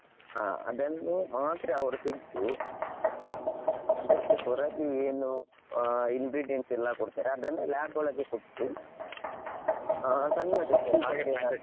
ಹಾ ಅದನ್ನು ಮಾತ್ರ ಅವ್ರು ತೆಗ್ದು ಅದಕ್ಕೆ ಹೊರಗೆ ಏನು ingredients ಎಲ್ಲ ಕೊಡ್ತಾರೆ ಅದನ್ನು lab ಒಳಗೆ ಕೊಟ್ಟು ಆ ಸಣ್ಣ testing .